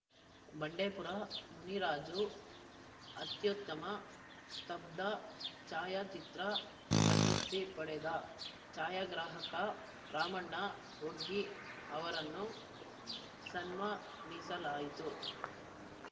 ಬಂಡೇಪುರ ಮುನಿರಾಜ ಅತ್ಯುತ್ತಮ ಸ್ಥಬ್ದ ಛಾಯಾಚಿತ್ರ ಪ್ರಶಸ್ತಿ ಪಡೆದ ಛಾಯಾಗ್ರಾಹಕ ರಾಮಣ್ಣ ವಗ್ಗಿ ಅವರನ್ನು ಸನ್ಮಾನಿಸಲಾಯಿತು